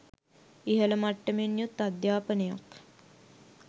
ඉහළ මට්ටමෙන් යුත් අධ්‍යාපනයක්